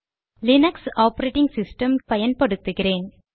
Linux operating system பயன்படுத்துகிறேன்